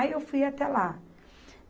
Aí, eu fui até lá.